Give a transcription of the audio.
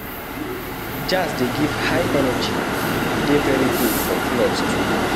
Jazz de give high energy e de very good for clubs too